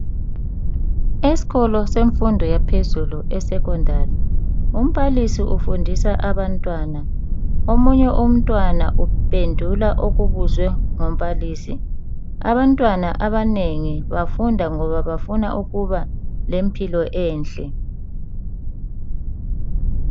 esikolo semfundo yaphezulu e Secondary umbalisi ufundisa abantwana omunye umntwana uphendula okubuzwe ngumbalisi abantwana abanengi bafunda ngoba bafuna ukuba lempilo enhle